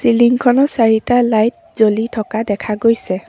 বিল্ডিঙখনত চাৰিটা লাইট জ্বলি থকা দেখা গৈছে।